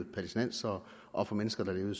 palæstinensere og for mennesker der levede